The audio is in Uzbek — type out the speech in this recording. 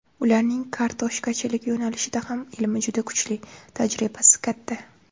Ularning kartoshkachilik yo‘nalishida ham ilmi juda kuchli, tajribasi katta.